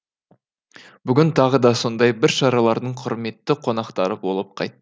бүгін тағы да сондай бір шаралардың құрметті қонақтары болып қайттық